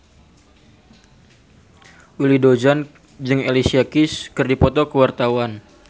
Willy Dozan jeung Alicia Keys keur dipoto ku wartawan